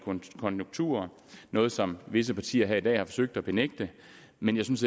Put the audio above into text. konjunkturer noget som visse partier her i dag har forsøgt at benægte men jeg synes